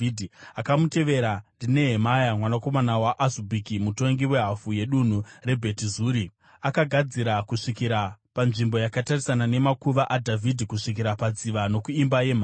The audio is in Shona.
Akamutevera ndiNehemia mwanakomana waAzubhuki mutongi wehafu yedunhu reBheti Zuri, akagadzira kusvikira panzvimbo yakatarisana nemakuva aDhavhidhi kusvikira padziva nokuImba yeMhare.